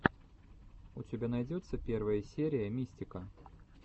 у тебя найдется первая серия мистика